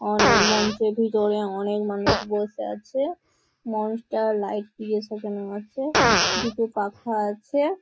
অনেক মঞ্চের ভিতরে অনেক মানুষ বসে আছে। মঞ্চটা লাইট দিয়ে সাজানো আছে। দুটো পাখা আছে।